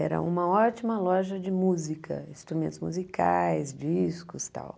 Era uma ótima loja de música, instrumentos musicais, discos, tal.